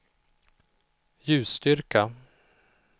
ljusstyrka